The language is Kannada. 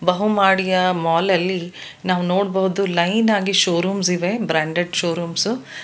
ಬಹುಮಡಿಯ ಮಾಲ್ ಅಲ್ಲಿ ನಾವು ನೋಡಬಹುದು ಲೈನ್ ಆಗಿ ಶೋರೂಮ್ಸ್ ಇವೆ ಬ್ರಾಂಡೆಡ್ ಶೋರೂಮ್ಸ್ .